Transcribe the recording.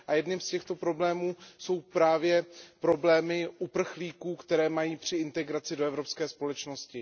Jedním z těchto problémů jsou právě problémy uprchlíků, které mají při integraci do evropské společnosti.